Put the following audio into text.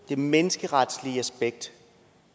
det menneskeretlige aspekt